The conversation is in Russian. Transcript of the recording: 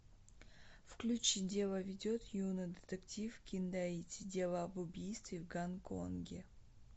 включи дело ведет юный детектив киндаити дело об убийстве в гонконге